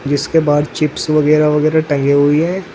जिसके बाहर चिप्स वगैरा वगैरा टंगे हुई है।